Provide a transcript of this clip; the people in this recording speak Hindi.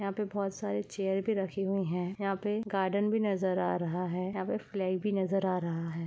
यहां पे बहुत सारे चेयर भी रखी हुई है यहां पे गार्डन भी नजर आ रहा है यहां पे फ्लैग भी नजर आ रहा है।